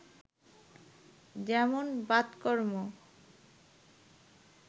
যেমন বাতকর্ম